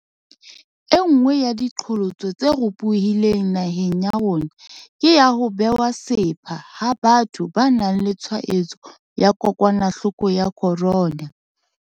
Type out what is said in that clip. Enngwe ya diqholotso tse ropohileng naheng ya rona ke ya ho bewa sepha ha batho ba nang le tshwaetso ya kokwanahloko ya corona.